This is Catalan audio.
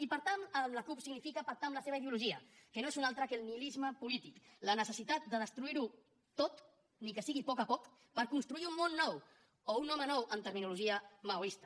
i pactar amb la cup significa pactar amb la seva ideologia que no és una altra que el nihilisme polític la necessitat de destruir ho tot ni que sigui a poc a poc per construir un món nou o un home nou en terminologia maoista